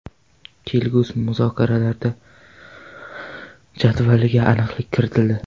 Kelgusi muzokaralar jadvaliga aniqlik kiritildi.